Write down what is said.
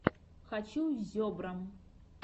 хочу зебра